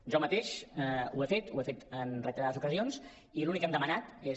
jo mateix ho he fet ho he fet en reiterades ocasions i l’únic que hem demanat és